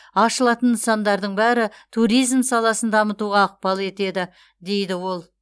ашылатын нысандардың бәрі туризм саласын дамытуға ықпал етеді дейді ол